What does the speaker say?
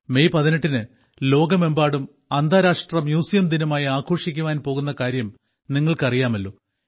May 18 ന് ലോകമെമ്പാടും അന്താരാഷ്ട്ര മ്യൂസിയം ദിനമായി ആഘോഷിക്കുവാൻ പോകുന്ന കാര്യം നിങ്ങൾക്ക് അറിയാമല്ലോ